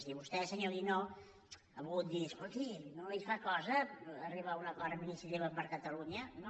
i vostè senyor guinó ha volgut dir escolti no li fa cosa arribar a un acord amb iniciativa per catalunya no